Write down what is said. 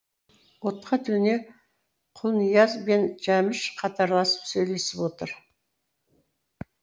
отқа төне құлнияз бен жәміш қатарласып сөйлесіп отыр